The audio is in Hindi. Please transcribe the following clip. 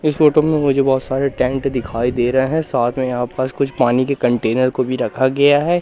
इस फोटो में मुझे बहोत सारे टैंक दिखाई दे रहे हैं साथ में यहां पास कुछ पानी के कंटेनर को भी रखा गया है।